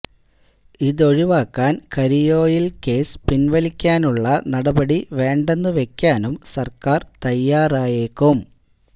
ഇതൊഴിവാക്കാൻ കരിഓയിൽ കേസ് പിൻവലിക്കാനുള്ള നടപടി വേണ്ടെന്ന് വയ്ക്കാനും സർക്കാർ തയ്യാറായേക്കും